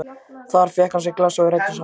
Þar fékk hann sér í glas og við ræddum saman.